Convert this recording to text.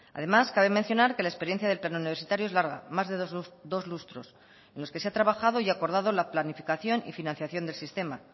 además cabe mencionar que la experiencia del plan universitario es larga más de dos lustros en los que se ha trabajado y acordado la planificación y financiación del sistema